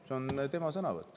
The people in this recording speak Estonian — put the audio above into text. Need on tema sõnad.